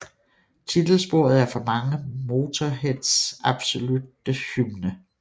Titelsporet er for mange Motörheads absolutte hymne